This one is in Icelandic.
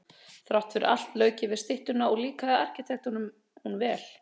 Þrátt fyrir allt lauk ég við styttuna og líkaði arkitektunum hún vel.